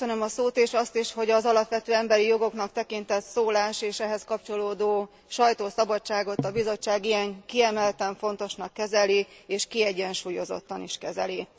Köszönöm a szót, és azt is, hogy az alapvető emberi jogoknak tekintett szólás és ehhez kapcsolódó sajtószabadságot a Bizottság ilyen kiemelten fontosan kezeli és kiegyensúlyozottan is kezeli.